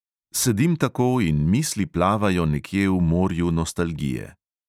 Sedim tako in misli plavajo nekje v morju nostalgije.